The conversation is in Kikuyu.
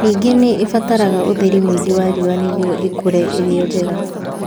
Ningĩ nĩ ibataraga ũtheri mũingĩ wa riũa nĩguo ikũre irio njega